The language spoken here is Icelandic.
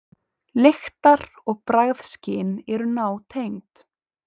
Lyktar- og bragðskyn eru nátengd.